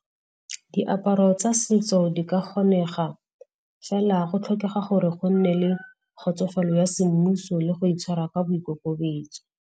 Diaparo tsa setso di ka kgonega, fela go tlhokega gore go nne le kgotsofalo ya semmuso le go itshwara ka boikokobetso.